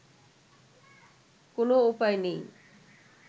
কোন উপায় নেই